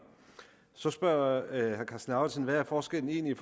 så spørger herre karsten lauritzen hvad er forskellen egentlig